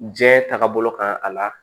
Diɲɛ taaga bolo kan a la